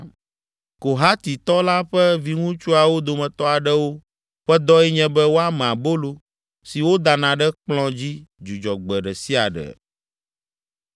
Kohatitɔ la ƒe viŋutsuawo dometɔ aɖewo ƒe dɔe nye be woame abolo si wodana ɖe kplɔ̃ dzi Dzudzɔgbe ɖe sia ɖe.